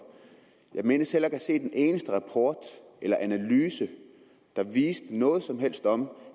jeg mindes at have set en eneste rapport eller analyse der viste noget som helst om